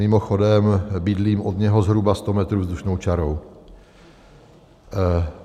Mimochodem bydlím od něho zhruba 100 metrů vzdušnou čarou.